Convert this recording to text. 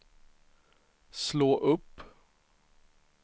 slå upp